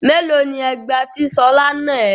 Mélòó ni ẹgba tí Ṣọlá nà ẹ́?